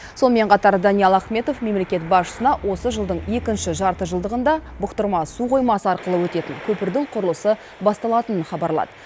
сонымен қатар даниал ахметов мемлекет басшысына осы жылдың екінші жартыжылдығында бұқтырма су қоймасы арқылы өтетін көпірдің құрылысы басталатынын хабарлады